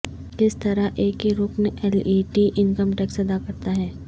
کس طرح ایک ہی رکن L E D income tax ادا کرتا ہے